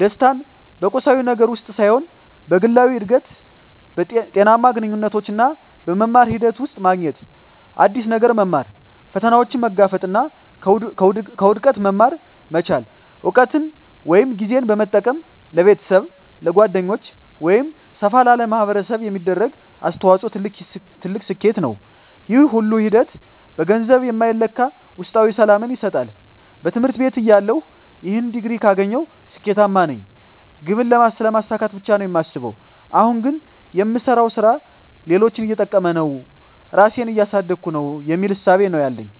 ደስታን በቁሳዊ ነገር ውስጥ ሳይሆን በግላዊ እድገት፣ ጤናማ ግንኙነቶች እና በመማር ሂደት ውስጥ ማግኘት። አዲስ ነገር መማር፣ ፈተናዎችን መጋፈጥ እና ከውድቀት መማር መቻል። እውቀትን ወይም ጊዜን በመጠቀም ለቤተሰብ፣ ለጓደኞች ወይም ሰፋ ላለ ማኅበረሰብ የሚደረግ አስተዋጽኦ ትልቅ ስኬት ነው። ይህ ሁሉ ሂደት በገንዘብ የማይለካ ውስጣዊ ሰላምን ይሰጣል። በትምህርት ቤትተያለሁ "ይህን ዲግሪ ካገኘሁ ስኬታማ ነኝ" ግብን ስለማሳካት ብቻ ነው የማስበው። አሁን ግን "የምሰራው ሥራ ሌሎችን እየጠቀመ ነው? ራሴን እያሳደግኩ ነው?" የሚል እሳቤ ነው ያለኝ።